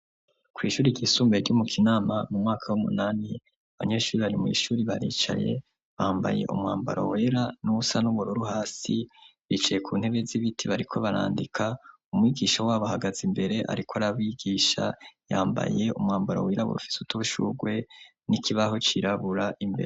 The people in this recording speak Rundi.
Kw' ishuri ryisumbuye ryo mu Kinama, mu mwaka w'umunani , abanyeshuri bari mw' ishuri baricay, bambaye umwambaro wera n'uwusa n'ubururu hasi, bicaye ku ntebe z'ibiti bariko barandika; umwigisha wabo ahagaze imbere ariko arabigisha, yambaye umwambaro wera ufise udushurwe, n'ikibaho cirabura imbere.